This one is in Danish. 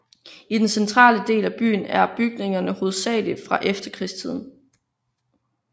I den centrale del af byen er bygningerne hovedsagelig fra efterkrigstiden